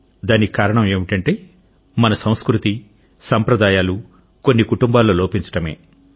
దానికి కారణం ఏమిటంటే మన సంస్కృతి సాంప్రదాయాలు కొన్ని కుటుంబాల్లో లోపించడమే